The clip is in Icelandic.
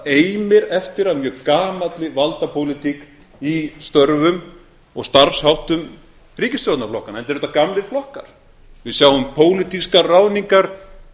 það eftir eftir af mjög gamalli valdapólitík í störfum og starfsháttum ríkisstjórnarflokkanna enda eru þetta gamlir flokkar við sjáum pólitískar ráðningar